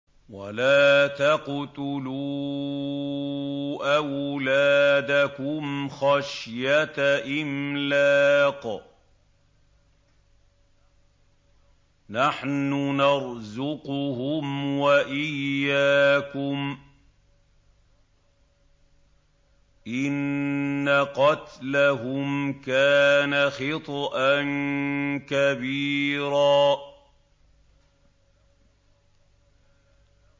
وَلَا تَقْتُلُوا أَوْلَادَكُمْ خَشْيَةَ إِمْلَاقٍ ۖ نَّحْنُ نَرْزُقُهُمْ وَإِيَّاكُمْ ۚ إِنَّ قَتْلَهُمْ كَانَ خِطْئًا كَبِيرًا